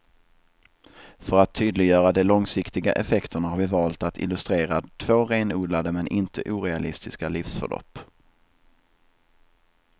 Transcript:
För att tydliggöra de långsiktiga effekterna har vi valt att illustrera två renodlade men inte orealistiska livsförlopp.